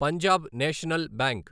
Punjab national bank